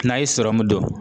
N'a ye sɔrɔmu don